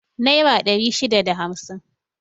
Nera ɗari shida da hamsin